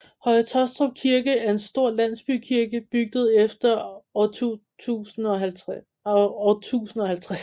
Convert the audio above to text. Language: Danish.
Høje Taastrup Kirke er en stor landsbykirke bygget efter år 1050